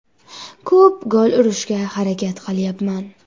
Ko‘p gol urishga harakat qilyapman.